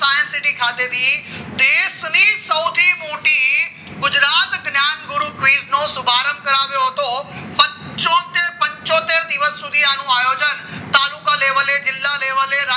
my city ખાતે દેશની સૌથી મોટી ગુજરાત જ્ઞાનગુરુ શુભારંભ કરાવ્યો હતો પંચોતેર દિવસ સુધી આનું આયોજન તાલુકા લેવલે જ જિલ્લા level